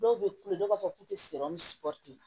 Dɔw bɛ kule dɔw b'a fɔ k'u tɛ